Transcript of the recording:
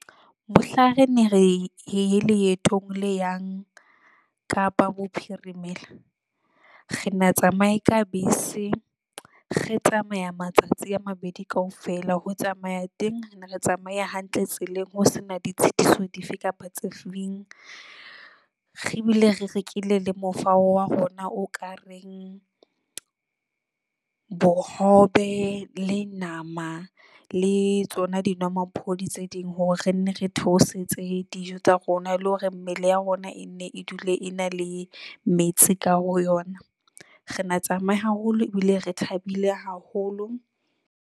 Mohlang re ne re ye leetong le yang Kapa Bophirimela re na tsamaye ka bese, re tsamaya matsatsi a mabedi kaofela, ho tsamaya teng re ne re tsamaya hantle tseleng. Ho sena ditshitiso dife kapa tse re ebile re rekile le mofao wa rona o ka reng bohobe le nama le tsona dinomaphodi tse ding, hore re nne re theosetse dijo tsa rona le hore mmele ya rona e ne e dule e na le metsi ka ho yona. Re na tsamaye haholo ebile re thabile haholo.